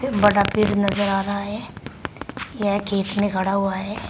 बड़ा पेड़ नजर आ रहा है यह खेत में खड़ा हुआ है।